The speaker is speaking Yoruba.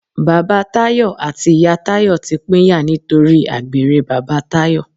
Bàbá Tayọ àti ìyá Tayọ ti pínyà nítorí àgbèrè bàbá Tayọ.